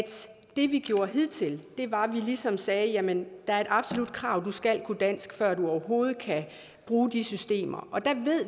vi vi gjorde hidtil var at vi ligesom sagde at jamen der er et absolut krav om at du skal kunne dansk før du overhovedet kan bruge de systemer